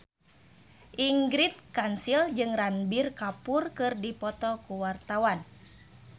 Ingrid Kansil jeung Ranbir Kapoor keur dipoto ku wartawan